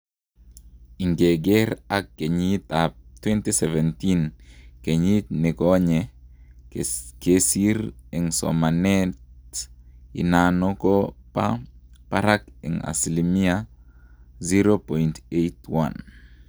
Ingeger ak kyenyit ap 2017,keyit nikonye kesir en somanet inano ko kopa parak en asilimia 0.81